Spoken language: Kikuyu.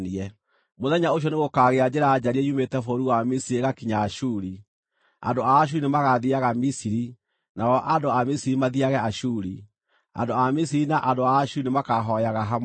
Mũthenya ũcio nĩgũkagĩa njĩra njariĩ yumĩte bũrũri wa Misiri ĩgakinya Ashuri. Andũ a Ashuri nĩmagathiiaga Misiri, na o andũ a Misiri mathiiage Ashuri. Andũ a Misiri na andũ a Ashuri nĩmakahooyaga hamwe.